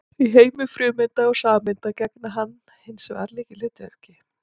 Í heimi frumeinda og sameinda gegnir hann hins vegar lykilhlutverki.